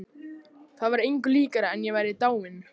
Það var engu líkara en ég væri dáin.